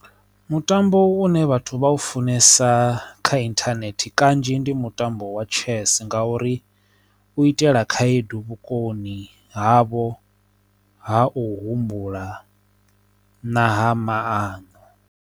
Mutambo une vhathu vha u funesa kha inthanethe kanzhi ndi mutambo wa chess nga uri u itela khaedu vhukoni havho ha u humbula na ha maano.